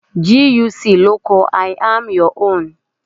GUC ló kọ 'I am your own' '